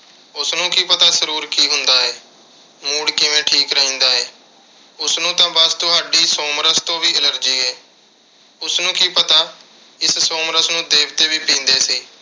ਉਸਨੂੰ ਕੀ ਪਤਾ ਸਰੂਰ ਕੀ ਹੁੰਦਾ ਏ। mood ਕਿਵੇਂ ਠੀਕ ਰਹਿੰਦਾ ਏ। ਉਸਨੂੰ ਤਾਂ ਬੱਸ ਤੁਹਾਡੀ ਸੋਮਰਸ ਤੋਂ ਵੀ allergy ਏ। ਉਸਨੂੰ ਕੀ ਪਤਾ ਇਸ ਸੋਮਰਸ ਨੂੰ ਦੇਵਤੇ ਵੀ ਪੀਂਦੇ ਸੀ।